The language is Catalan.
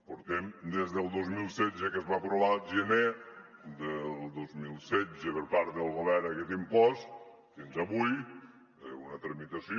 portem des del dos mil setze que es va aprovar el gener del dos mil setze per part del govern aquest impost fins avui una tramitació